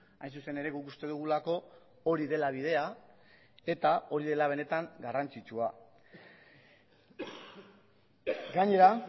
hain zuzen ere guk uste dugulako hori dela bidea eta hori dela benetan garrantzitsua gainera